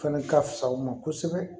Fɛnɛ ka fisa u ma kosɛbɛ